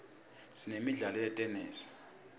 sinemidlalo yetenesi